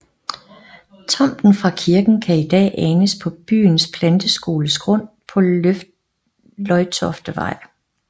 Tomten fra kirken kan i dag anes på byens planteskoles grund på Løjtoftevej